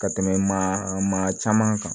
Ka tɛmɛ maa maa caman kan